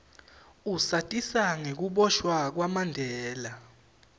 usatisa ngekuboshwa kwamandela